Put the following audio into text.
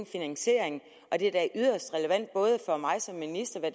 finansiering og det er da yderst relevant både for mig som minister og